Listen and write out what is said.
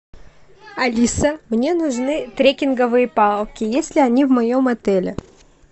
алиса мне нужны трекинговые палки есть ли они в моем отеле